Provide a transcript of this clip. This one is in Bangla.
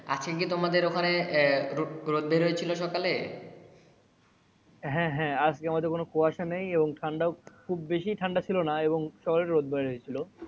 আজকে কি তোমাদের ওখানে রোদ বের হয়েছিল সকালে? হ্যা হ্যা আজকে আমাদের কোনো কুয়াশা নাই এবং খুব বেশি ঠান্ডা ছিল না এবং রোদ বের হয়েছিল।